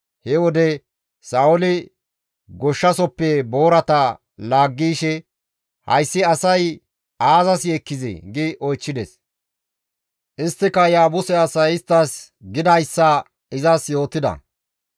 He wode Sa7ooli goshshasoppe boorata laaggi yishe, «Hayssi asay aazas yeekkizee?» gi oychchides; isttika Yaabuse asay isttas gidayssa izas yootida.